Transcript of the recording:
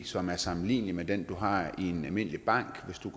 som er sammenlignelig med den du har i en almindelig bank hvis du